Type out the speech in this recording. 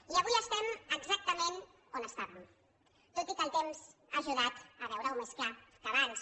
i avui som exactament on érem tot i que el temps ha ajudat a veure ho més clar que abans